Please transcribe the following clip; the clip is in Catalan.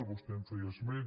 vostè en feia esment